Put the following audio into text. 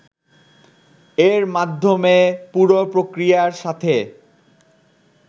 এর মাধ্যমে পুরো প্রক্রিয়ার সাথে